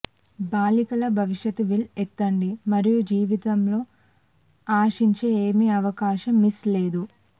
బాలికల భవిష్యత్ వీల్ ఎత్తండి మరియు జీవితం లో ఆశించే ఏమి అవకాశం మిస్ లేదు